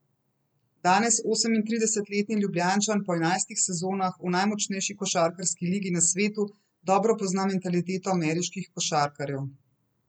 Danes osemintridesetletni Ljubljančan po enajstih sezonah v najmočnejši košarkarski ligi na svetu dobro pozna mentaliteto ameriških košarkarjev.